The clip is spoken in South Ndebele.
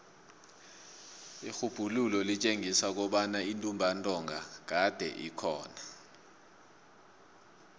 irhubhululo litjengisa kobana intumbantonga kade ikhona